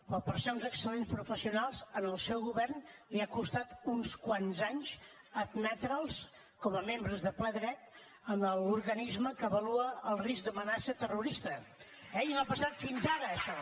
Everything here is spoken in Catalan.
però per ser uns excel·lents professionals al seu govern li ha costat uns quants anys admetre’ls com a membres de ple dret a l’organisme que avalua el risc d’amenaça terrorista eh i no ha passat fins ara això